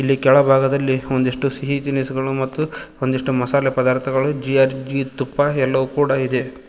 ಇಲ್ಲಿ ಕೆಳ ಭಾಗದಲ್ಲಿ ಒಂದಿಷ್ಟು ಸಿಹಿ ತಿನಿಸುಗಳು ಮತ್ತು ಒಂದಿಷ್ಟು ಮಸಾಲೆ ಪದಾರ್ಥಗಳು ಜಿ_ಆರ್_ಜಿ ತುಪ್ಪಾ ಎಲ್ಲೋವು ಕೂಡ ಇದೆ.